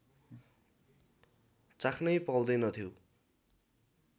चाख्नै पाउँदैनथ्यौँ